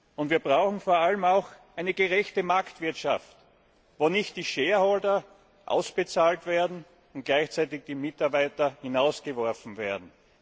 Und wir brauchen vor allem auch eine gerechte Marktwirtschaft, wo nicht die ausbezahlt und gleichzeitig die Mitarbeiter hinausgeworfen werden.